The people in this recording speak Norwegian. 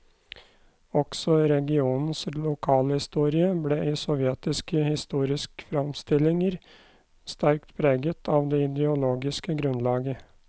Også regionens lokalhistorie ble i sovjetiske historiske framstillinger sterkt preget av det ideologiske grunnlaget.